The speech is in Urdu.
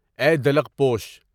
اے دلک پوش!